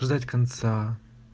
ждать конца